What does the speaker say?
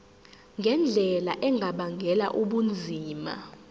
ngendlela engabangela ubunzima